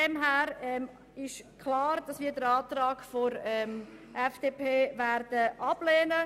Deshalb ist klar, dass wir den Antrag der FDP ablehnen werden.